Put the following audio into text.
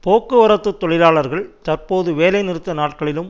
போக்குவரத்து தொழிலாளர்கள் தற்பொழுது வேலை நிறுத்த நாட்களிலும்